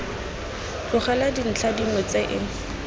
tlogelwa dintlha dingwe tse e